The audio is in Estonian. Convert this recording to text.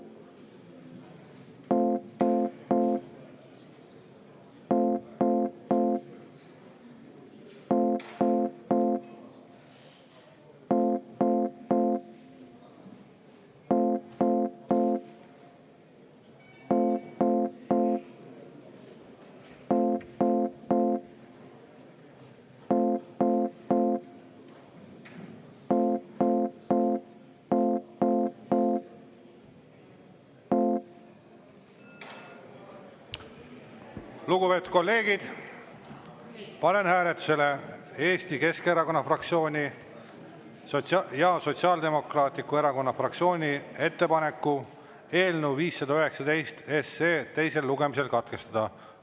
Lugupeetud kolleegid, panen hääletusele Eesti Keskerakonna fraktsiooni ja Sotsiaaldemokraatliku Erakonna fraktsiooni ettepaneku eelnõu 519 teisel lugemisel katkestada.